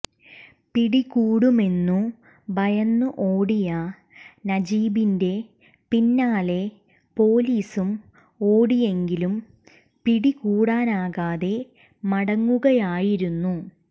പിടികൂടുമെന്നു ഭയന്ന് ഓടിയ നജീബിന്റെ പിന്നാലെ പോലീസും ഓടിയെങ്കിലും പിടികൂടാനാകാതെ മടങ്ങുകയായിരുന്നു